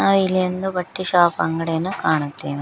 ನಾವು ಇಲ್ಲಿ ಒಂದು ಬಟ್ಟೆ ಶಾಪ್ ಅಂಗಡಿಯನ್ನು ಕಾಣುತ್ತೇನು.